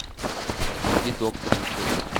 найди доктор на тв